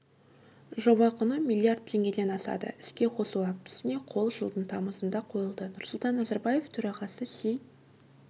жоба құны миллиард теңгеден асады іске қосу актісіне қол жылдың тамызында қойылды нұрсұлтан назарбаев төрағасы си